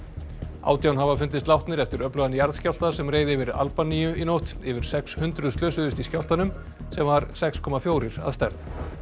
átján hafa fundist látnir eftir öflugan jarðskjálfta sem reið yfir Albaníu í nótt yfir sex hundruð slösuðust í skjálftanum sem var sex komma fjórir að stærð